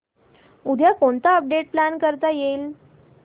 उद्या कोणतं update plan करता येईल